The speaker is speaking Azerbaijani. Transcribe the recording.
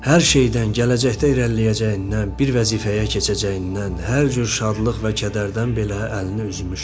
Hər şeydən, gələcəkdə irəliləyəcəyindən, bir vəzifəyə keçəcəyindən, hər cür şadlıq və kədərdən belə əlini üzmüşdü.